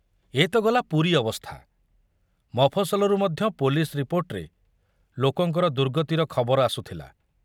ଏ ତ ଗଲା ପୁରୀ ଅବସ୍ଥା , ମଫସଲରୁ ମଧ୍ୟ ପୋଲିସ ରିପୋର୍ଟରେ ଲୋକଙ୍କର ଦୁର୍ଗତିର ଖବର ଆସୁଥିଲା।